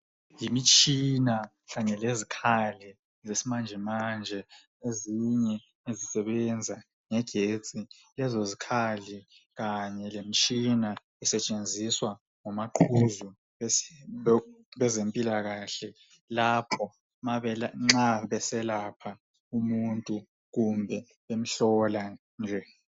Yimitshina kanye lezikhali zesimanje manje ezinye ezisebenza ngegetsi lezo zikhali kanye lemtshina isetshenziswa ngomaqhuzu bezempilakahle lapho nxa beselapha umuntu kumbe bemhlola nje.